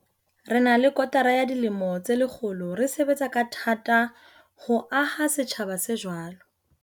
Re na le kotara ya dilemo tse lekgolo re sebetsa ka tha-ta ho aha setjhaba se jwalo.